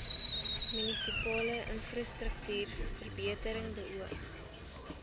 munisipale infrastruktuurverbetering beoog